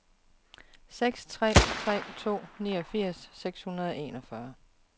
seks tre tre to niogfirs seks hundrede og enogfyrre